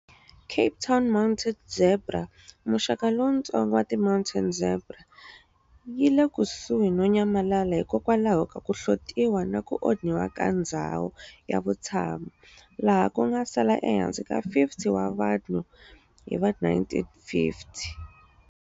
Cape Town mountain zebra, muxaka lowuntsongo wa ti mountain zebra, yile kusuhi no nyamalala hikokwalaho ka ku hlotiwa naku onhiwa ka ndzhawu ya vutshamo, laha kunga sala ehansi ka 50 wa vanhu hiva 1950s.